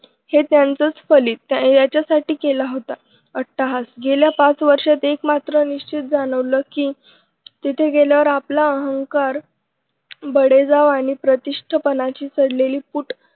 हे त्यांचं पडली त्याच्यासाठी केला होता अट्टाहास गेल्या पाच वर्षात एक मात्र निश्चित जाणवलं की तिथे गेल्यावर आपला अहंकार बडेजाव आणि प्रतिष्ठपणाची पडलेली फूट